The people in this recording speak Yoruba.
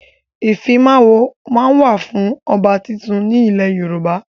Ìfimawo máa ń wà fún ọba tuntun ni ilẹ̀ Yorùbá.